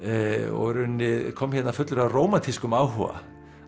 og í rauninni kom hérna fullur af rómantískum áhuga